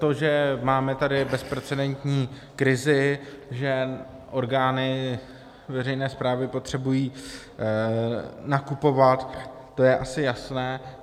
To, že máme tady bezprecedentní krizi, že orgány veřejné správy potřebují nakupovat, to je asi jasné.